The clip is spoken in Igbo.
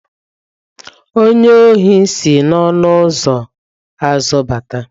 Onye ohi si n'ọnụ ụzọ azụ bata.